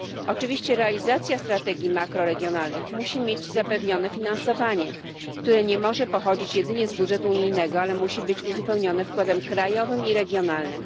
Oczywiście realizacja strategii makroregionalnych musi mieć zapewnione finansowanie, które nie może pochodzić jedynie z budżetu unijnego, ale musi być uzupełnione wkładem krajowym i regionalnym.